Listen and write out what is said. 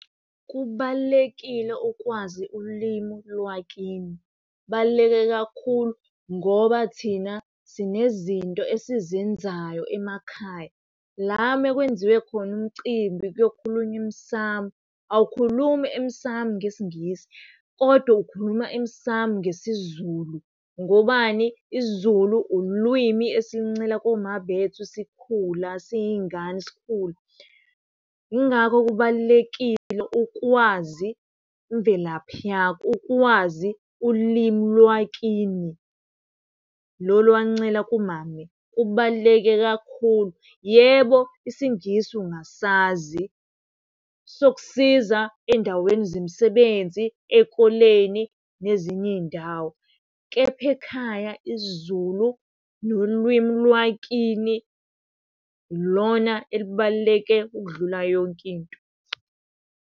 Kubalulekile ukwazi ulimu lwakini. Kubaluleke kakhulu ngoba thina sinezinto esizenzayo emakhaya. La mekwenziwe khona umcimbi kuyokhulunywa emsamu awukhulumi emsamu ngesiNgisi kodwa ukhuluma emsamu ngesiZulu. Ngobani? IsiZulu ulwimi esiluncela koma bethu sikhula siyiy'ngane sikhula. Yingakho kubalulekile ukwazi imvelaphi yakho, ukwazi ulimi lwakini. Lolu owaluncela kumame kubaluleke kakhulu. Yebo isiNgisi ungasazi sokusiza ey'ndaweni zemisebenzi, ey'koleni nezinye iy'ndawo kepha ekhaya isiZulu nolwimi lwakini ilona elibaluleke ukudlula yonke into.